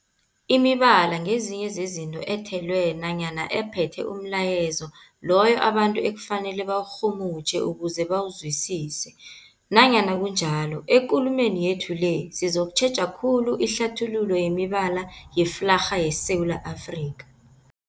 Imibala ngezinye zezinto ethelwe nanyana ephethe umlayezo loyo abantu ekufanele bawurhumutjhe ukuze bawuzwisise. Nanyana kunjalo, ekulumeni yethu le sizokutjheja khulu ihlathululo yemibala yeflarha yeSewula Afrika.